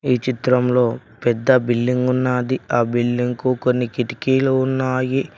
ఈ చిత్రంలో పెద్ద బిల్డింగ్ ఉన్నాది ఆ బిల్డింగ్ కు కొన్ని కిటికీలు ఉన్నాయి.